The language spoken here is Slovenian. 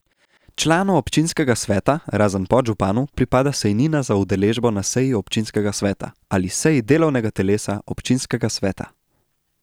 Članu občinskega sveta, razen podžupanu, pripada sejnina za udeležbo na seji občinskega sveta ali seji delovnega telesa občinskega sveta.